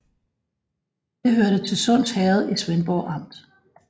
Det hørte til Sunds Herred i Svendborg Amt